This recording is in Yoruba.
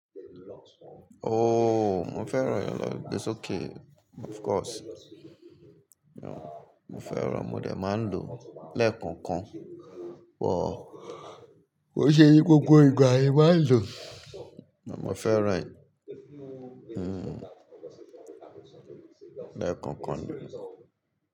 Mo fẹ́ràn ẹ̀rọ ìgbésókè of course. Mo fẹ́ràn, mo dẹ̀ máa ń lò lẹ́ẹ̀kọ̀ọ̀kan, but ko i ṣe gbogbo ìgbà ni máa ń lò, màá fẹ́ràn ẹ lẹ́ẹ̀kọ̀ọ̀kan ni.